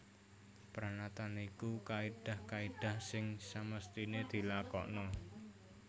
Pranatan iku kaidah kaidah sing semestine dilakokna